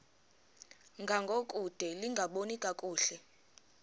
ngangokude lingaboni kakuhle